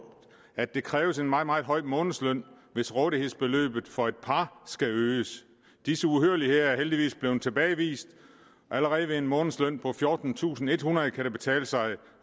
at det kræver en meget meget høj månedsløn hvis rådighedsbeløbet for et par skal øges disse uhyrligheder er heldigvis blevet tilbagevist allerede ved en månedsløn på fjortentusinde og ethundrede kroner kan det betale sig